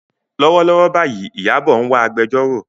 Lọ́wọ́lọ́wọ́ báyìí, Ìyábọ̀ ń wá agbẹjọ́rò.